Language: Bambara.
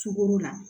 Sukoro la